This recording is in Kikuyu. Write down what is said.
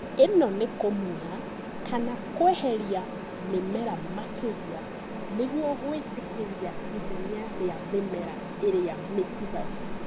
ĩno nĩ kũmunya kana kweheria mĩmera makĩria nĩguo gwĩtĩkĩria ithenya rĩa mĩmera ĩrĩa mĩtigaru